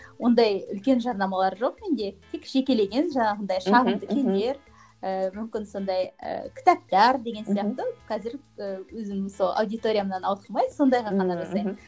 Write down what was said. ондай үлкен жарнамалар жоқ менде тек жекелеген жаңағындай шағын киімдер ііі мүмкін сондай ііі кітаптар деген сияқты қазір і өзім сол аудиториямнан ауытқымай сондайға ғана жасаймын